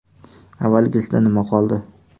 Avvalgisidan nima qoldi?